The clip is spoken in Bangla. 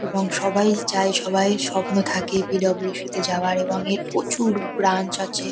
এবং সবাই চায় সবাইয়ের স্বপ্ন থাকে পি .ডব্লিউ .সি. -তে যাওয়ার এবং এর প্রচুর ব্রাঞ্চ আছে।